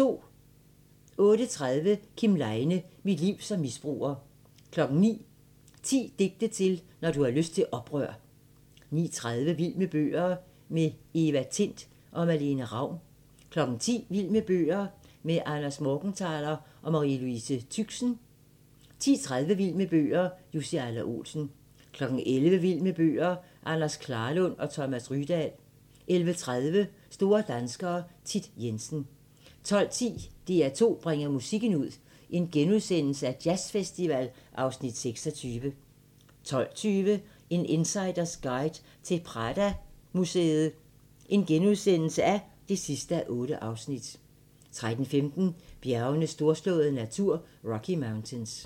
08:30: Kim Leine – mit liv som misbruger 09:00: 10 digte til, når du har lyst til oprør 09:30: Vild med bøger - med Eva Tind og Malene Ravn 10:00: Vild med bøger - med Ander Morgenthaler og Marie Louise Tüxen 10:30: Vild med bøger - Jussi Adler-Olsen 11:00: Vild med bøger - Anders Klarlund og Thomas Rydahl 11:30: Store danskere - Thit Jensen 12:10: DR2 bringer musikken ud – Jazzfestival (Afs. 26)* 12:20: En insiders guide til Pradomuseet (8:8)* 13:15: Bjergenes storslåede natur – Rocky Mountains